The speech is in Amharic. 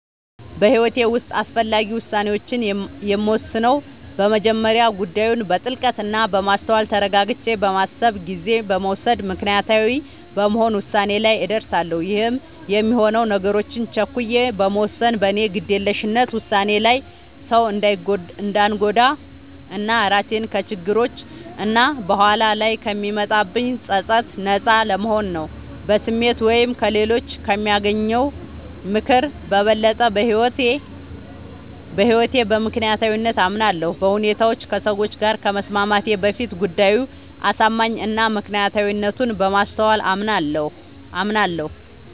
በህይወቴ ዉስጥ አስፈላጊ ዉሳኔዎችን የምወስነው በመጀመሪያ ጉዳዩን በጥልቀት እና በማስተዋል ተረጋግቼ በማሰብ ጊዜ በመዉሰድ ምክንያታዊ በመሆን ዉሳኔ ላይ እደርሳለሁ ይህም የሚሆነው ነገሮችን ቸኩዬ በመወሰን በኔ ግዴለሽነት ዉሳኔ ሌላ ሰዉ እንዳንጎዳ እና ራሴንም ከችግሮች እና በኋላ ላይ ከሚመጣብኝ ፀፀት ነጻ ለመሆን ነዉ። በስሜት ወይም ከሌሎች ከሚያገኘው ምክር በበለጠ በህይወቴ በምክንያታዊነት አምናለሁ፤ በሁኔታዎች ከሰዎች ጋር ከመስማማቴ በፊት ጉዳዩ አሳማኝ እና ምክንያታዊነቱን በማስተዋል አምናለሁ።